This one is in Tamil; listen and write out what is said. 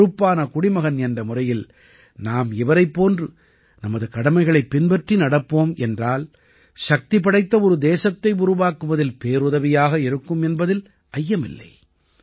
ஒரு பொறுப்பான குடிமகன் என்ற முறையில் நாம் இவரைப் போன்று நமது கடமைகளைப் பின்பற்றி நடப்போம் என்றால் சக்திபடைத்த ஒரு தேசத்தை உருவாக்குவதில் பேருதவியாக இருக்கும் என்பதில் ஐயமில்லை